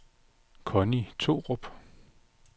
Conni Thorup